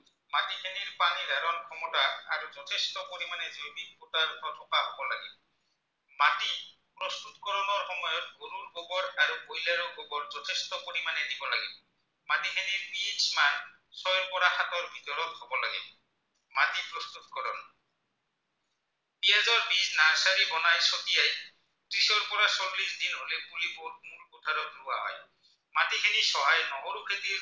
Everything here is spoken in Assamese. নহৰু খেতিৰে